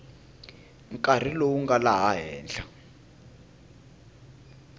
nkarhi lowu nga laha henhla